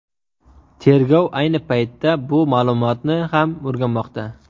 Tergov ayni paytda bu ma’lumotni ham o‘rganmoqda.